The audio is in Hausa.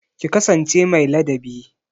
Ki kasance mai ladabi